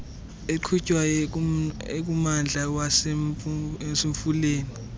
eqhutywayo ekummandla wasemfuleni